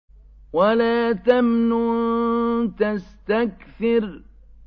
وَلَا تَمْنُن تَسْتَكْثِرُ